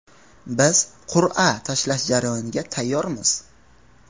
Biz qur’a tashlash jarayoniga tayyormiz.